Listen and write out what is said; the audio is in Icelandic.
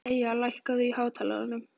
Eyja, lækkaðu í hátalaranum.